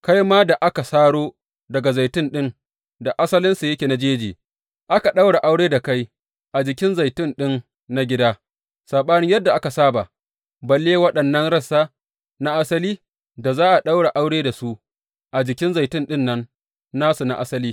Kai ma da aka saro daga zaitun ɗin da asalinsa yake na jeji, aka ɗaura aure da kai a jikin zaitun ɗin na gida, saɓanin yadda aka saba, balle waɗannan rassa na asali, da za a ɗaura aure da su a jikin zaitun ɗin nan nasu na asali?